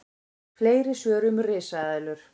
Fleiri svör um risaeðlur: